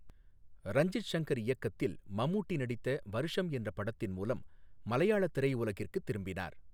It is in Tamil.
ரஞ்சித் சங்கர் இயக்கத்தில் மம்முட்டி நடித்த வர்ஷம் என்ற படத்தின் மூலம் மலையாள திரையுலகிற்குத் திரும்பினார்.